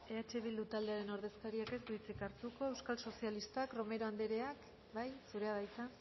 eh bildu talderen ordezkariak ez du hitzik hartuko euskal sozialistak romero andrea bai zurea de hitza